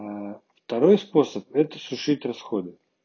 второй способ это сушить расходы